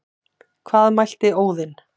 Hvað mælti Óðinn,